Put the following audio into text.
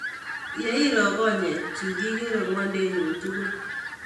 Ye iro konyek chuk, ikere ng'wendunyun tukul.